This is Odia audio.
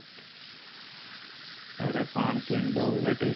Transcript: କିଣି ଦବୁ |